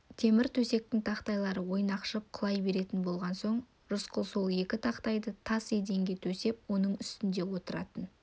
темір төсектің тақтайлары ойнақшып құлай беретін болған соң рысқұл сол екі тақтайды тас еденге төсеп соның үстінде отыратын